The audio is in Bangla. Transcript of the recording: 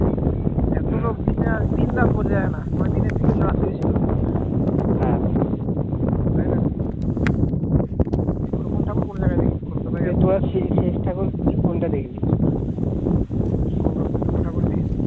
কলকাতার যতগুলো ঠাকুরই দেখেছি